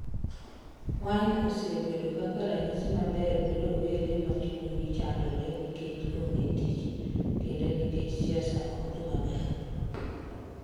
Wine osebedo kaka ranyisi maber ne rowere ma chunygi chandore nikech onge tich, kendo nikech siasa ok dhi maber.